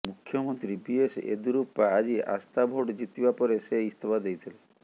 ମୁଖ୍ୟମନ୍ତ୍ରୀ ବିଏସ୍ ୟେଦ୍ୟୁରୁପ୍ପା ଆଜି ଆସ୍ଥା ଭୋଟ୍ ଜିତିବା ପରେ ସେ ଇସ୍ତଫା ଦେଇଥିଲେ